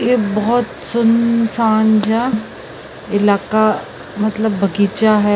ਇੱਕ ਬਹੁਤ ਸੁਨਸਾਨ ਜਿਹਾ ਇਲਾਕਾ ਮਤਲਬ ਬਗੀਚਾ ਹੈ।